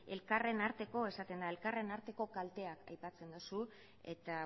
elkarren arteko kalteak aipatzen duzu eta